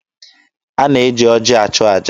A na-eji oji achụ aja.